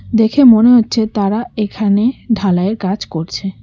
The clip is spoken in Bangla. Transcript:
দেখে মনে হচ্ছে তারা এখানে ঢালাইয়ের কাজ করছে।